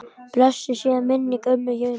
Blessuð sé minning ömmu Jönu.